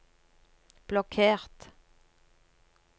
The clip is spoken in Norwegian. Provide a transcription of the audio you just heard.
blokkert